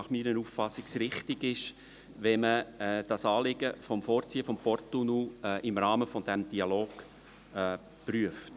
Gemäss meiner Auffassung ist es richtig, wenn man das Anliegen des Vorziehens des Porttunnels im Rahmen des Dialogs prüft.